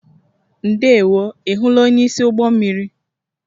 Ndewo, ị hụla onyeisi ụgbọ mmiri?